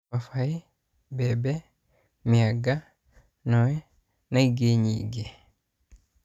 Mababaĩ, mbembe, mĩanga, noĩ na inge nyingĩ